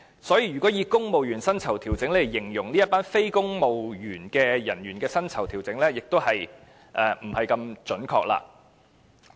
所以，如果以"公務員薪酬調整"來形容這群非公務員人員的薪酬調整，是有點不準確。